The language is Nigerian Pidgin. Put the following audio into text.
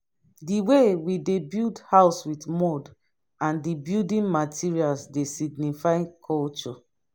di way we dey build house with mud and di building materals dey signify culture